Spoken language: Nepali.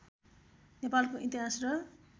नेपालको इतिहास र